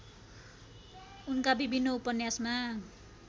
उनका विभिन्न उपन्यासमा